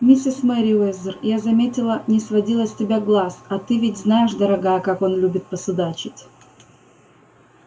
миссис мерриуэзер я заметила не сводила с тебя глаз а ты ведь знаешь дорогая как он любит посудачить